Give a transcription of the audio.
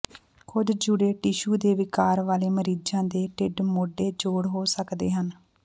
ਕੁਝ ਜੁੜੇ ਟਿਸ਼ੂ ਦੇ ਵਿਕਾਰ ਵਾਲੇ ਮਰੀਜ਼ਾਂ ਦੇ ਢਿੱਡ ਮੋਢੇ ਜੋੜ ਹੋ ਸਕਦੇ ਹਨ